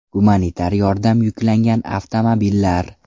Gumanitar yordam yuklangan avtomobillar.